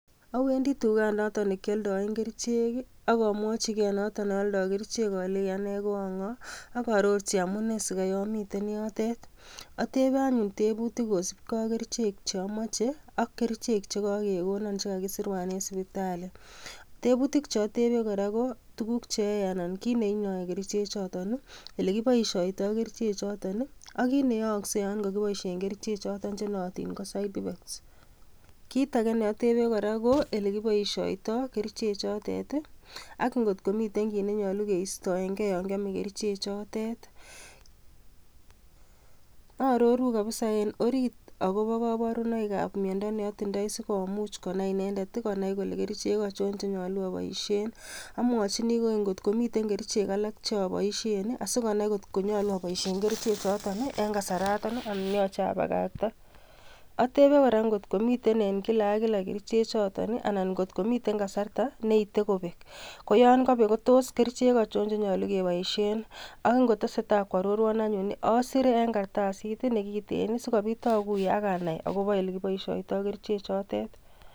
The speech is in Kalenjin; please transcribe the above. Awendii tuget noton nekioldoen kerichek I,akomwochi noton neoldoo kerichek alenyii ane ko angoo, ak arorchi amune sikai amiten yotet. Atebe anyun tebuutik kosiibge ak kerichek cheomoche ak kerichek che kakekonon, che kakisirwan en sipitalii. Tebuutik cheotebee kora KO tuguuk cheyoe anan ko kit neinyoe key richekchoton elekiboishiotoi Ker ichek choton ak kit neyooksei yon kokiboishien kerichekchoton chenooton ko side effects. Kit age neotebe kora ko elekiboishiotoo kerichechototet I,ak ngot komiten kit nenyolu keistoenge yon kiome kerichek chotet. Aroru missing eng orit akobo koborunoik ab miondo neotindoi sikumuch konai inendet konai kole kerichek achon chenyolu aboishien. Amwochini kokeny ngot komiten kerichek alak cheoboshien asikonai ngot nyolu aboishien kerichekchoton eng kasaraton anan yoche abakaktaa. Atebeen kora ngot komiten eng kila ak kila kerichek choton anan kot komiten kasartaa neite kobeek. Ak yon kobek kotos kerichek achon chenyolu keboishien. Ak ingotesetai koarorwon anyun I asire eng kartasit nekiten sikoobit akuye ak anai akobo ole kiboishiotoi Kerichechotet.